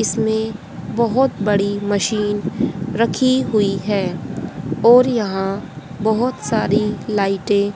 इसमें बहोत बड़ी मशीन रखी हुई है और यहां बहोत सारी लाइटें